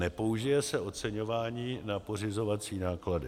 Nepoužije se oceňování na pořizovací náklady.